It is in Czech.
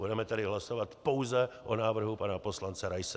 Budeme tedy hlasovat pouze o návrhu pana poslance Raise.